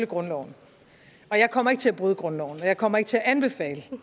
grundloven og jeg kommer ikke til at bryde grundloven og jeg kommer ikke til at anbefale